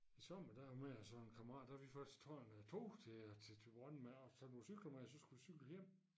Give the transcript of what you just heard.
I sommer der mig og så en kammerat der vi først tager en øh tog til øh til Thyborøn med og så nogle cykler med og så skulle vi cykle hjem